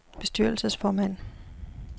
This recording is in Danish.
bestyrelsesformand